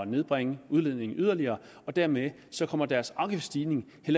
nedbringe udledningen yderligere og dermed kommer deres afgiftsstigning